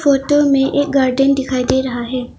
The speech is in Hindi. फोटो में एक गार्डेन दिखाई दे रहा है।